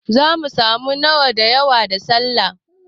Zamu samu nama da yawa da Sallah